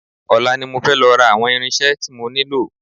Ọ̀la ni mo fẹ́ lọ ra àwọn irinṣẹ́ tí mo nílò